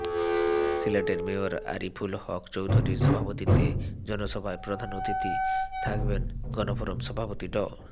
সিলেটের মেয়র আরিফুল হক চৌধুরীর সভাপতিত্বে জনসভায় প্রধান অতিথি থাকবেন গণফোরাম সভাপতি ড